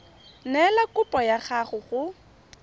neela kopo ya gago go